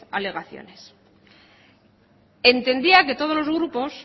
alegaciones entendía que todos los grupos